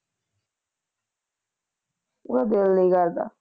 ਉਹਦਾ ਦਿਲ ਨੀ ਕਰਦਾ।